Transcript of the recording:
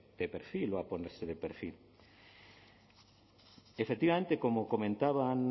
de perfil o a ponerse de perfil efectivamente como comentaban